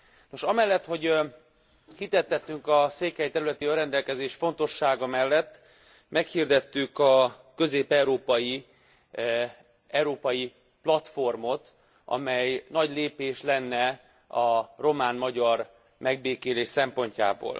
Nos amellett, hogy hitet tettünk a székely területi önrendelkezés fontossága mellett, meghirdettük a közép európai, európai platformot, amely nagy lépés lenne a román magyar megbékélés szempontjából.